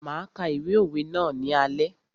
Máa ka ìwé òwe ná ní alé.